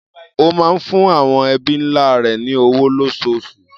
Ó máa ń fún àwọn ẹbí ńlá rẹ̀ ní owó lóṣooṣù.